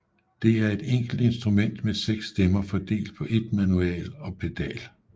Det er en enkelt instrument med seks stemmer fordelt på ét manual og pedal